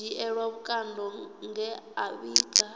dzhielwa vhukando nge a vhiga